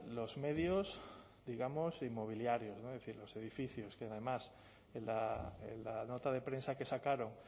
los medios digamos inmobiliarios los edificios que además en la nota de prensa que sacaron